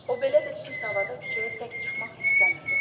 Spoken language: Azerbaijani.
O belə bir pis havada küçəyə tək çıxmaq istəmirdi.